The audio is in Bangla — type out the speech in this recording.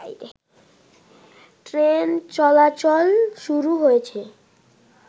ট্রেন চলাচল শুরু হয়েছে